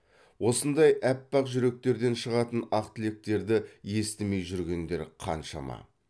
осындай аппақ жүректерден шығатын ақ тілектерді естімей жүргендер қаншама